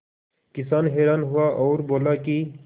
किसान हैरान हुआ और बोला कि